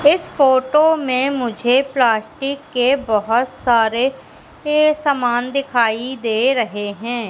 इस फोटो मे मुझे प्लास्टिक के बहोत सारे ये समान दिखाई दे रहे है।